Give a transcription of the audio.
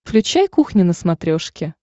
включай кухня на смотрешке